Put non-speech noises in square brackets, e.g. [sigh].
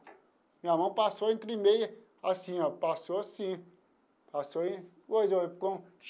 Minha mão passou entre meia, assim ó, passou assim passou. [unintelligible]